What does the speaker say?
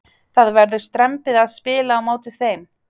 Það verður strembið að spila á móti þeim.